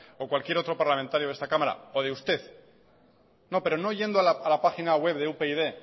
o cualquier otro parlamentario de esta cámara o de usted no pero no yendo a la página web de upyd